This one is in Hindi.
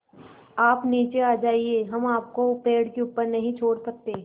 आप नीचे आ जाइये हम आपको पेड़ के ऊपर नहीं छोड़ सकते